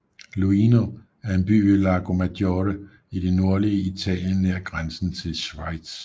Luino er en by ved Lago Maggiore i det nordlige Italien nær grænsen til Schweiz